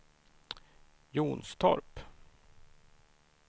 Jonstorp